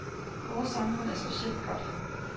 Vores samfund er specielt godt.